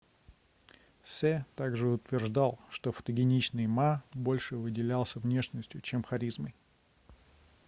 се также утверждал что фотогеничный ма больше выделялся внешностью чем харизмой